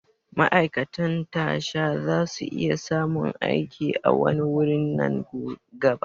Ma'aikatan tasha zasu iya samun aiki a wani wurin nan gaba